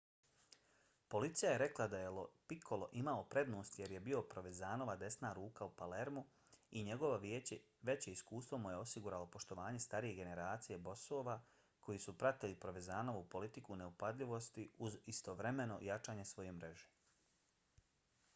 policija je rekla da je lo piccolo imao prednost jer je bio provenzanova desna ruka u palermu i njegovo veće iskustvo mu je osiguralo poštovanje starije generacije bosova koji su pratili provenzanovu politiku neupadljivosti uz istovremeno jačanje svoje mreže